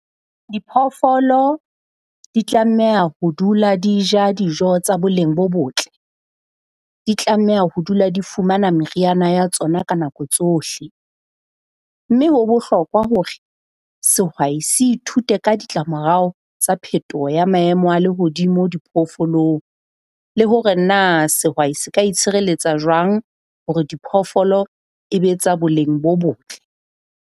Diphoofolo di tlameha ho dula di ja dijo tsa boleng bo botle. Di tlameha ho dula di fumana meriana ya tsona ka nako tsohle. Mme ho bohlokwa hore sehwai se ithute ka ditlamorao tsa phetoho ya maemo a lehodimo diphoofolong, le hore na sehwai se ka itshireletsa jwang hore diphoofolo e be tsa boleng bo botle.